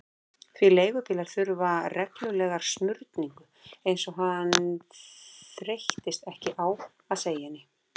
Því leigubílar þurftu reglulega smurningu, eins og hann þreyttist ekki á að segja henni.